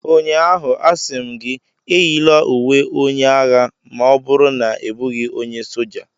Ụnyaahụ, a sị m gị, eyila uwe onye agha ma ọ bụrụ na ị bụghị onye soja!